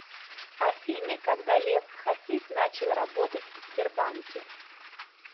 афина когда лев хасис начал работать в сбербанке